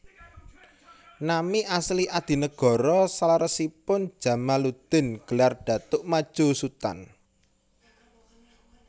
Nami asli Adinegoro saleresipun Djamaluddin gelar Datuk Madjo Sutan